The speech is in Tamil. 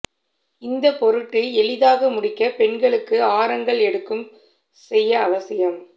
இந்த பொருட்டு எளிதாக முடிக்க பெண்களுக்கு ஆரங்கள் எடுக்கும் செய்ய அவசியம்